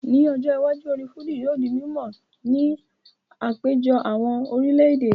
Ní ọjọ́ iwájú, orin Fújì yóò di mímọ̀ ní àpéjọ àwọn orílẹ̀ èdè